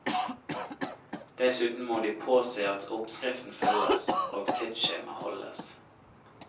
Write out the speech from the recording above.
Dessuten må de påse at oppskriften følges, og tidsskjema holdes.